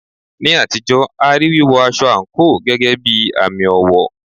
Ní àtijọ́, a rí wíwọ aṣọ àǹkóò gẹ́gẹ́ bí àmì ọ̀wọ̀.